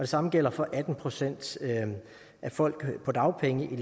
samme gælder for atten procent af folk på dagpenge i